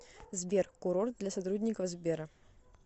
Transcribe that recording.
сбер курорт для сотрудников сбера